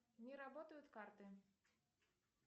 не работают карты